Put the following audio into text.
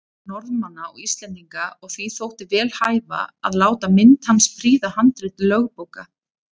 Norðmanna og Íslendinga, og því þótti vel hæfa að láta mynd hans prýða handrit lögbóka.